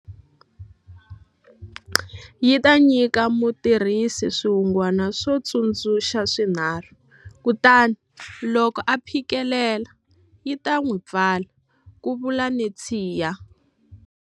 Yi ta nyika mutirhisi swihungwana swo tsundzuxa swinharhu, kutani loko a phikelela, yi ta n'wi pfala, ku vula Netshiya.